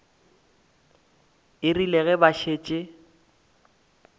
e rile ge ba šetše